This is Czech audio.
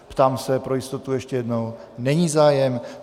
Ptám se pro jistotu ještě jednou... není zájem.